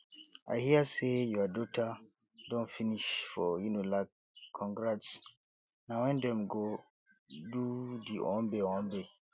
i hear sey your daughter don finish for unilagcongrats na wen dem go do di owambe owambe